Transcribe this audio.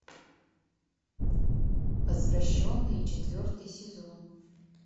возвращенные четвертый сезон